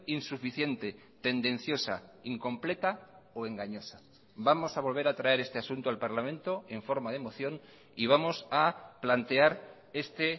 insuficiente tendenciosa incompleta o engañosa vamos a volver a traer este asunto al parlamento en forma de moción y vamos a plantear este